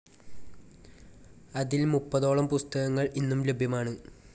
അതിൽ മുപ്പതോളം പുസ്തകങ്ങൾ ഇന്നും ലഭ്യമാണ്.